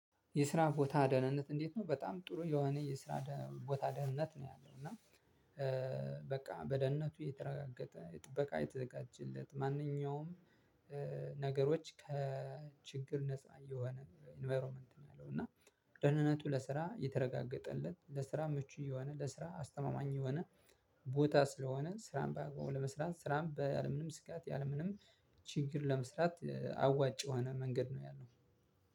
የስራ ቦታ ደህንነት እንዴት ነው በጣም ጥሩ የሆነ የስራ ቦታ ደህንነት ነው ያለው እና በቃ በደህንነቱ የተረጋገጠ የጥበቃ የተዘጋጀለት ማንኛውም ነገሮች ከችግር ነፃ የሆነ ኢንቫይሮመንት ነው ያለው። እና ደህንነቱ ለስራ የተረጋገጠለት ለስራ ምቹ የሆነ ለስራ አስተማማኝ የሆነ ቦታ ስለሆነ ስራን በአግባቡ ለመስራት ስራን በምንም ስጋት ያለምንም ችግር ለመስራት አዋጭ የሆነ መንገድ ነው። ያለው